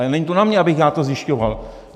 Ale není to na mně, abych já to zjišťoval.